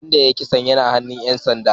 Wanda ya yi kisan yana hannun ‘yan sanda